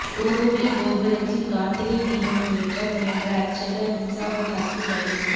கோவில் கோபுரத்தில் கார்த்திகை தீபம் ஏற்ற முயன்ற அர்ச்சகர் மின்சாரம் தாக்கி பலி